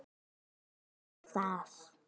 Það er bara það.